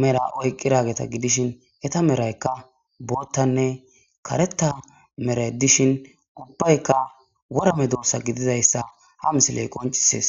mera oyqqi raageta gidishin eta meraykka boottanne kareta meray dishin ubbaykka worame doossa gidizayssa ha misiley qoncisees.